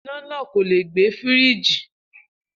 Iná náà kò leè gbẹ Fírííjì